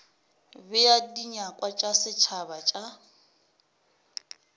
bea dinyakwa tša setšhaba tša